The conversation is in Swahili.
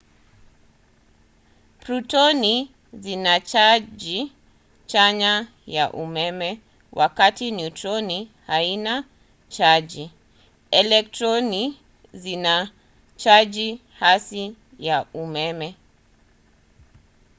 protoni zina chaji chanya ya umeme wakati neutroni hazina chaji. elektroni zina chaji hasi ya umeme